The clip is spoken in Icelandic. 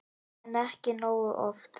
En ekki nógu oft.